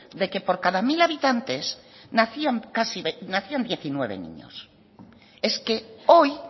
de que por cada mil habitantes nacían diecinueve niños es que hoy